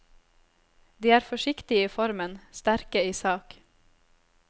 De er forsiktige i formen, sterke i sak.